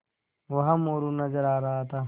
वहाँ मोरू नज़र आ रहा था